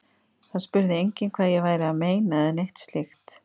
Það spurði enginn hvað ég væri að meina eða neitt slíkt.